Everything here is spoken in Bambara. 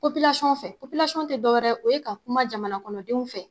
Popilasɔn fɛ Popilasɔn te dɔwɛrɛ o ye ka kuma jamana kɔnɔdenw fɛ